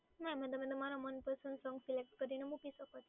હા એમાં તમે તમારા મનપસંદ સોંગ સિલેક્ટ કરીને મૂકી શકો